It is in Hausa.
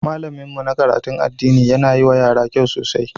Malamin mu na karatun addini yana yi wa yara kyau sosai.